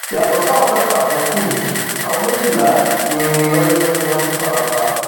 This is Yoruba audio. yàtọ sáwọn mẹfà tó kù yìí àwọn méjìlá ni wọn ní wọn tún fara pa